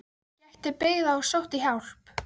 Hann gekk til byggða og sótti hjálp.